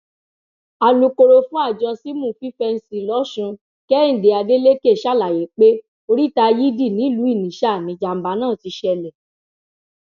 alūkkóró fún àjọ símù fífẹǹsì lọsùn kehinde adeleke ṣàlàyé pé oríta yidi nìlúu inisa nìjàmbá náà ti ṣẹlẹ